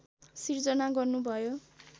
सिर्जना गर्नुभयो